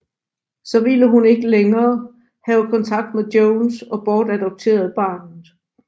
Så ville hun ikke længere have kontakt med Jones og bortadopterede barnet